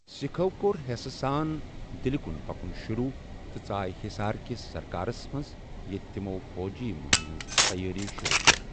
سِكھو كور ہیسہٕ سان دِلِكُن پكُن شروع تہٕ ژایہ ہِسار كِس سركارس منز ییتہِ تِمو٘ فوجی مُیِمہِ ہٕنز تیٲری شروع كٕر ۔